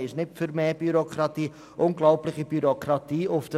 Die Mehrheit in diesem Saal dürfte wohl nicht für Bürokratie sein.